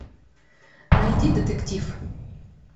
найди детектив